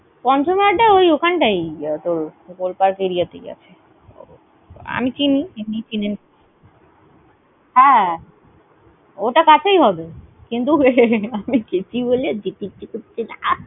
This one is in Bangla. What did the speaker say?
পঞ্চমের আড্ডায়, ওই ওখান টাই। তোর golpark area তেই আছে। আমি চিনি হ্যাঁ, ওটা কাছেই হবে। কিন্তু আমি গেছি বলে যেতে ইচ্ছে করছে না।